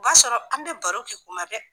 b'a sɔrɔ an bɛ baro kɛ kuma bɛ.